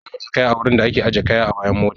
Ana ajiye kaya a wurin da a ke ajiye kaya a bayan mota